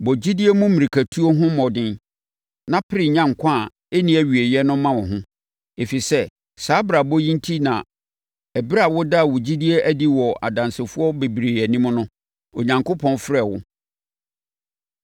Bɔ gyidie mu mmirikatuo no ho mmɔden na pere nya nkwa a ɛnni awieeɛ no ma wo ho, ɛfiri sɛ, saa abrabɔ yi enti na ɛberɛ a wodaa wo gyidie adi wɔ adansefoɔ bebree anim no, Onyankopɔn frɛɛ wo.